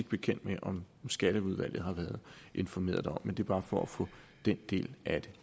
bekendt med om skatteudvalget har været informeret derom det er bare for at få den del af det